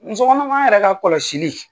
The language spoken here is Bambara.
Muso kɔnɔman yɛrɛ ka kɔlɔsili